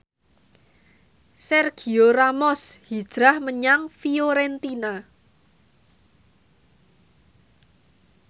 Sergio Ramos hijrah menyang Fiorentina